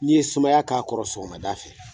N'i ye sumaya k'a kɔrɔ sɔgɔmada fɛ